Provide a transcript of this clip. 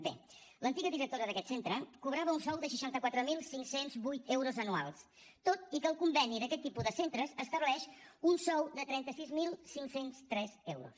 bé l’antiga directora d’aquest centre cobrava un sou de seixanta quatre mil cinc cents i vuit euros anuals tot i que el conveni d’aquest tipus de centres estableix un sou de trenta sis mil cinc cents i tres euros